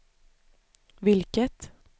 vilket